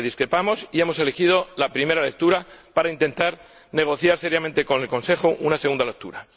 discrepamos y hemos elegido la primera lectura para intentar negociar seriamente con el Consejo una segunda lectura.